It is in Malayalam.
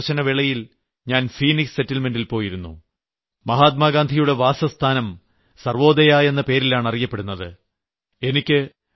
എന്റെ ദക്ഷിണാഫ്രിക്ക സന്ദർശനവേളയിൽ ഞാൻ ഫീനിക്സ് സെറ്റിൽമെന്റ് ൽ പോയിരുന്നു മഹാത്മാഗാന്ധിയുടെ വാസസ്ഥാനം സർവ്വോദയ എന്ന പേരിലാണ് അറിയപ്പെടുന്നത്